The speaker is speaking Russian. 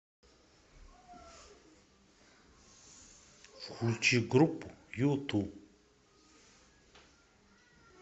включи группу юту